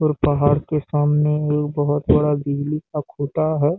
और पहाड़ के सामने एक बहोत बड़ा बिजली का खुटा है।